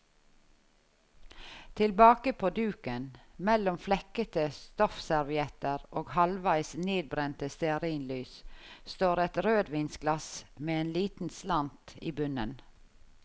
Tilbake på duken, mellom flekkete stoffservietter og halvveis nedbrente stearinlys, står et rødvinsglass med en liten slant i bunnen.